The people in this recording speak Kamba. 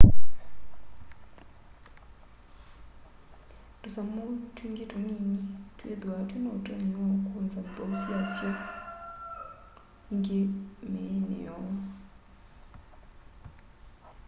tûsamû twingî tunini twîthwaa twî na ûtonyi wa ûkûnza nthwau syasyo îngî mîînî yoo